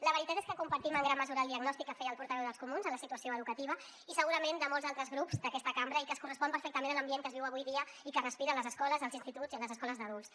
la veritat és que compartim en gran mesura el diagnòstic que feia el portaveu dels comuns en la situació educativa i segurament de molts altres grups d’aquesta cambra i que es correspon perfectament a l’ambient que es viu avui dia i que es respira a les escoles als instituts i a les escoles d’adults